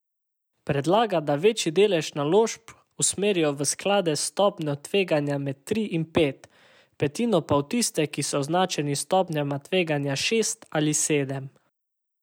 Predlaga, da večji delež naložb usmerijo v sklade s stopnjo tveganja med tri in pet, petino pa v tiste, ki so označeni s stopnjama tveganja šest ali sedem.